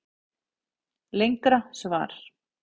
Lengra svar